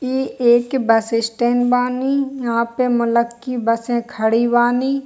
इ एक bus stand बानी यहाँ पे मुल्लक की बसे खड़ी बानी।